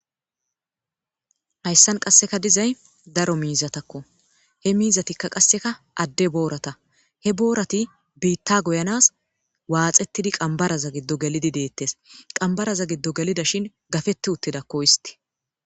Haysan qaseka dizaysi daro mizatakko he mizatikka qaseka ade borata he borati biita goyanas waxetidi qambaran gido gelidi detes qambaraza gido gelida shin gadeti utidakko histi.